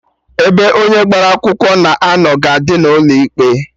Ebe onye agbara akwụkwọ na-anọ ga-adị n'ụlọ ikpe